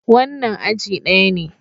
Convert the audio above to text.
Wannan aji daya ne.